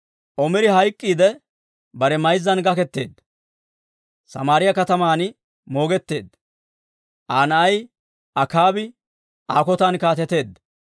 Omiri hayk'k'iidde bare mayzzan gaketeedda; Samaariyaa kataman moogetteedda. Aa na'ay Akaabi Aa kotan kaateteedda.